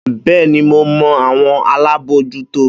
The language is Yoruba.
Bẹ́ẹ́ni, mo mọ àwọn alábòójútó.